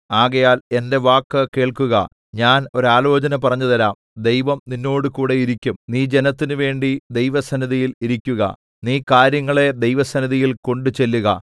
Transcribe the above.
ആകയാൽ എന്റെ വാക്ക് കേൾക്കുക ഞാൻ ഒരാലോചന പറഞ്ഞുതരാം ദൈവം നിന്നോടുകൂടെ ഇരിക്കും നീ ജനത്തിന് വേണ്ടി ദൈവസന്നിധിയിൽ ഇരിക്കുക നീ കാര്യങ്ങളെ ദൈവസന്നിധിയിൽ കൊണ്ടുചെല്ലുക